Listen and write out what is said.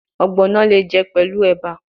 Ogbono le je pelu eba